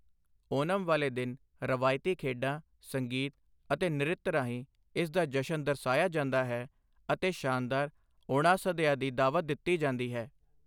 ਓਨਮ ਵਾਲੇ ਦਿਨ ਰਵਾਇਤੀ ਖੇਡਾਂ, ਸੰਗੀਤ ਅਤੇ ਨ੍ਰਿਤ ਰਾਹੀਂ ਇਸ ਦਾ ਜਸ਼ਨ ਦਰਸਾਇਆ ਜਾਂਦਾ ਹੈ ਅਤੇ ਸ਼ਾਨਦਾਰ ਓਣਾਸਦਯਾ ਦੀ ਦਾਅਵਤ ਦਿੱਤੀ ਜਾਂਦੀ ਹੈ।